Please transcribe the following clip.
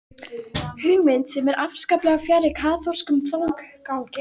Hugmynd sem er afskaplega fjarri kaþólskum þankagangi.